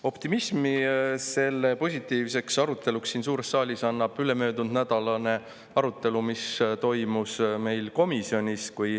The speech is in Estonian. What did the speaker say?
Optimismi selle positiivseks aruteluks siin suures saalis annab ülemöödunud nädala arutelu, mis toimus meil komisjonis.